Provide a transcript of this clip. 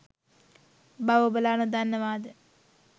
බව ඔබලා නොදන්නවාද?